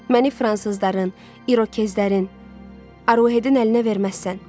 Məni fransızların, İrokezlərin, Arouhedin əlinə verməzsən.